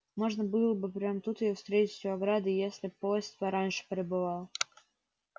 можно было бы прямо тут её встретить у ограды если б поезд пораньше прибывал